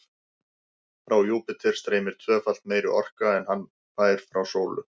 Frá Júpíter streymir tvöfalt meiri orka en hann fær frá sólu.